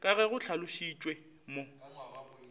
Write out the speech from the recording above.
ka ge go hlalošitšwe mo